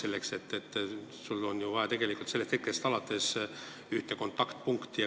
Kui see seaduseelnõu n-ö jõusse astub, siis sellest hetkest alates on ju vaja ühte kontaktpunkti.